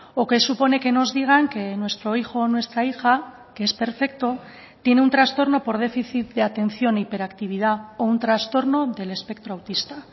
o que supone que nos digan que nuestro hijo o nuestra hija que es perfecto tiene un trastorno por déficit de atención hiperactividad o un trastorno del espectro autista